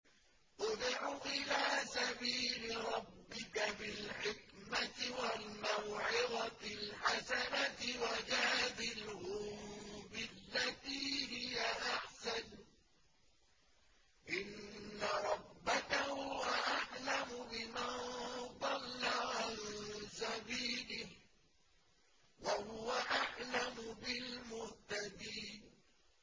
ادْعُ إِلَىٰ سَبِيلِ رَبِّكَ بِالْحِكْمَةِ وَالْمَوْعِظَةِ الْحَسَنَةِ ۖ وَجَادِلْهُم بِالَّتِي هِيَ أَحْسَنُ ۚ إِنَّ رَبَّكَ هُوَ أَعْلَمُ بِمَن ضَلَّ عَن سَبِيلِهِ ۖ وَهُوَ أَعْلَمُ بِالْمُهْتَدِينَ